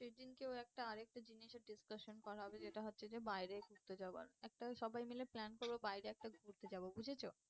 সে দিনকে ওর একটা আর একটা জিনিসের discussion করা হবে যেটা হচ্ছে যে বাইরে ঘুরতে যাওয়া। একটা সবাই মিলে plan করবো বাইরে একটা ঘুরতে যাবো বুঝেছো?